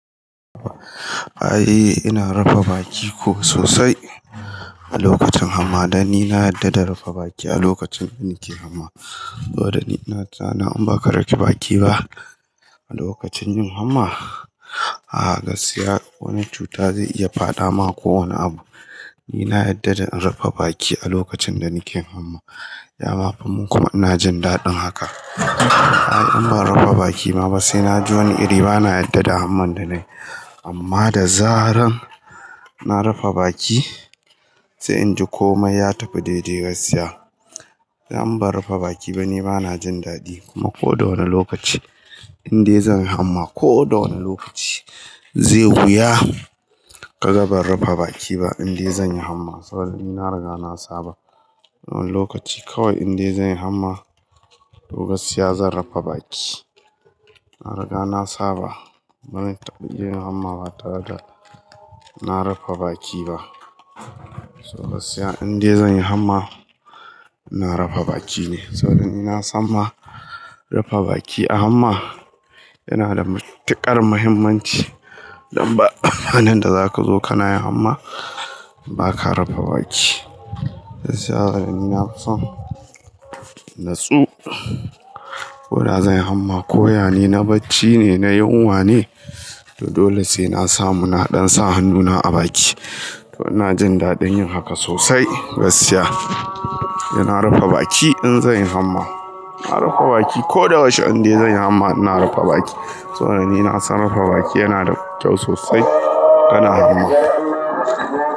A'a ina rafa baki ko sosai a lokacin hamma dan in na yarda da rufa baki a lokacin da nake hamma. Saboda ina tunanin in ba ka rufe baki ba a lokacin yin hamma, a gaskiya wani cuta zai iya fada ma ko wane abu. Ni na yarda da in rufe baki a lokacin da nake hamma. Yama fumin kuma ina jin daɗin haka. Ai in ban rufe baki ba sai na ji wani iri bana yarda da hamman da nai. Amma da zaran na rufe baki sai inji komai ya tafi daidai gaskiya. Sai in ban rufe baki ba ni bana jin daɗi kuma ko da wane lokaci in dai zan yi hamma ko da wane lokaci zai wuya. Kaga ban rufe baki ba in dai zan yi hamma saboda ni na riga na saba. Wani lokaci kawai in dai zan yi hamma to gaskiya zan rufe baki. Na riga na saba bani taɓa yin hamma ba tare da na rufe baki ba. To gaskiya in dai zan yi hamma ina rufe baki ne saboda ni na san ma rufe baki a hamma yana da matuƙar mahimmanci. Don ba, amfanin da zaka zo kana yin hamma ba ka rafa baki. Gaskiya saboda ni na fi son natsu ko da zan yi hamma koya ne, na bacci ne, na yunwa ne to dole sai na samu naɗan sa hannuna a baki. To ina jin daɗin yin haka sosai gaskiya. Ina rufe baki in zan yi hamma. Na rufe baki ko da yaushe, in dai zan yi hamma ina rufe baki. Saboda ni na san rufe baki yana da kyau sosai kana hamma.